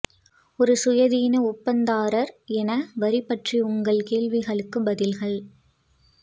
ஒரு சுயாதீன ஒப்பந்ததாரர் என வரி பற்றி உங்கள் கேள்விகளுக்கு பதில்கள்